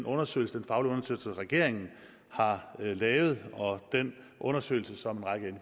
undersøgelse som regeringen har lavet og den undersøgelse som en række